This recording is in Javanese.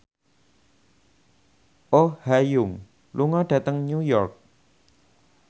Oh Ha Young lunga dhateng New York